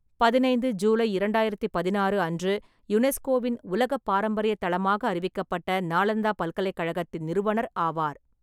பதினைந்து ஜூலை இரண்டாயிரத்து பதினாறு அன்று யுனெஸ்கோவின் உலக பாரம்பரிய தளமாக அறிவிக்கப்பட்ட நாளந்தா பல்கலைக்கழகத்தின் நிறுவனர் ஆவார்.